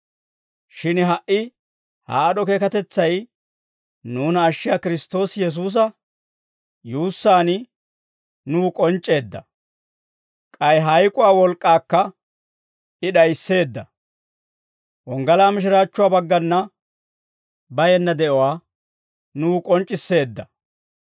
Shin ha"i ha aad'd'o keekatetsay nuuna ashshiyaa Kiristtoosi Yesuusa yuussaan nuw k'onc'c'eedda. K'ay hayk'uwaa wolk'k'aakka I d'ayisseedda. Wonggalaa mishiraachchuwaa baggana bayenna de'uwaa nuw k'onc'c'isseedda.